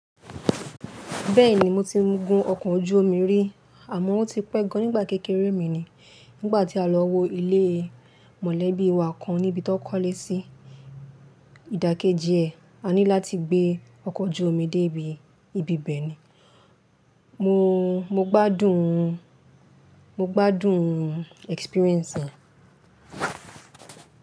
Bẹ́ẹ̀ni, mo ti gun ọkọ̀ ojú omi rí àmọ́ ó ti pẹ́ gan-an nígbà kékeré mi ni. Nígbà tí a lọ wo ilé mọ̀lẹ́bí wa kan níbi tí wọ́n kọ́lé sí ìdàkejì ẹ̀, a ní láti gbé ọkọ̀ ojú omi débi ibi ibẹ̀ ni. Mo, mo gbádùn, mo gbádùn experience yẹn.